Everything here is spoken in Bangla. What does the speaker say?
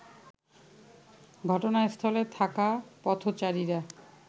ঘটনাস্থলে থাকা পথচারীরা